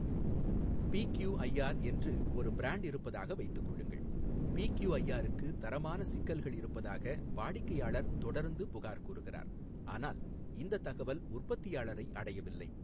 BQIR என்று ஒரு brand இருப்பதாக வைத்துக் கொள்ளுங்கள் பிகியூஐஆர்க்கு தரமான சிக்கல்கள் இருப்பதாக வாடிக்கையாளர் தொடர்ந்து புகார் கூறுகிறார் ஆனால் இந்த தகவல் உற்பத்தியாளரை அடையவில்லை.